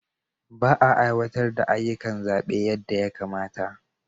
Ba a aiwatar da ayyukan zaɓe yadda ya kamata.